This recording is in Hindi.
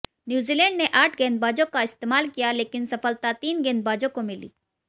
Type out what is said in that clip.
न्यूजीलैंड ने आठ गेंदबाजों का इस्तेमाल किया लेकिन सफलता तीन गेंदबाजों को मिली